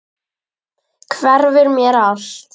Hverfur mér allt.